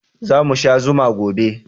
Za mu sha zuma gobe